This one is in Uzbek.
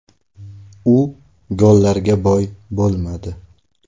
U gollarga boy bo‘lmadi.